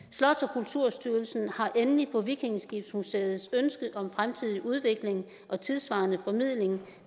kulturstyrelsen har endelig på vikingeskibsmuseets ønske om fremtidig udvikling og tidssvarende formidling